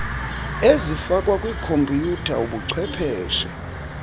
ezifakwa kwikhompiyutha ubuchwepheshe